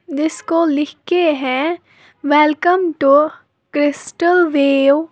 जिसको लिख के हैं वेलकम टू क्रिस्टो वेओ ।